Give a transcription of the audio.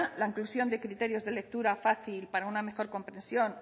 la inclusión de criterios de lectura fácil para una mejor comprensión